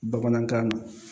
Bamanankan